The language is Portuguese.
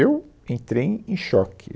Eu entrei em choque.